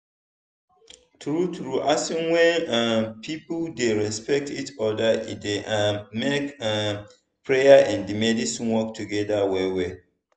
true true asin when um people dey respect each other e dey um make um prayer and medicine work together well well.